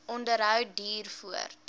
onderhou duur voort